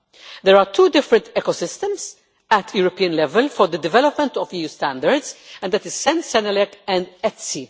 There are two different ecosystems at European level for the development of EU standards, and that is CEN CENELEC and ETSI.